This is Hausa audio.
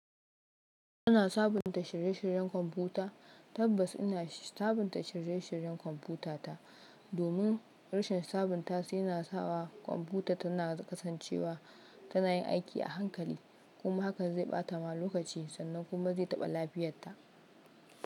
Kuna sabunta shirye-shiryen kwamfuta? Tabbas ina sabunta shirye-shiryen kwamfutata. Domin rashin sabunta su yana sawa kwamfuta tana kasancewa tana yin aiki a hankali. Kuma haka zai ɓata ma lokaci sannan kuma zai taɓa lafiyarta.